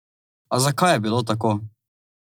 A zakaj je bilo tako?